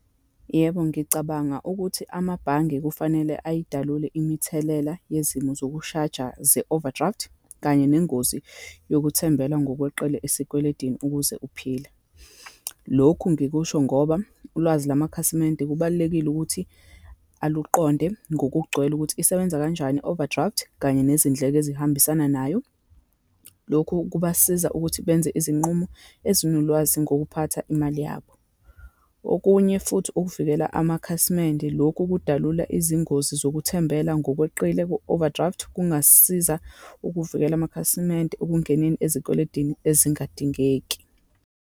Yebo, ngicabanga ukuthi amabhange kufanele ayidalule imithelela yezimo zokushaja ze-overdraft, kanye nengozi yokuthembela ngokweqile esikweletini ukuze uphile. Lokhu ngikusho ngoba, ulwazi lwamakhasimende kubalulekile ukuthi aluqonde ngokugcwele, ukuthi isebenza kanjani i-overdraft, kanye nezindleko ezihambisana nayo. Lokhu kubasiza ukuthi benze izinqumo ezinolwazi ngokuphatha imali yabo. Okunye futhi, ukuvikela amakhasimende, lokhu kudalula izingozi zokuthembela ngokweqile ku-overdraft, kungasiza ukuvikela amakhasimende ekungeneni ezikweletini ezingadingeki.